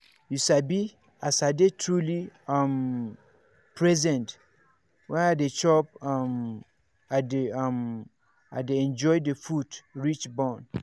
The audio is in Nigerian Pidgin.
you sabi as i dey truly um present when i dey chop um i dey um i dey enjoy the food reach bone.